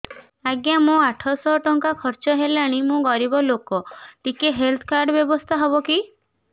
ଆଜ୍ଞା ମୋ ଆଠ ସହ ଟଙ୍କା ଖର୍ଚ୍ଚ ହେଲାଣି ମୁଁ ଗରିବ ଲୁକ ଟିକେ ହେଲ୍ଥ କାର୍ଡ ବ୍ୟବସ୍ଥା ହବ କି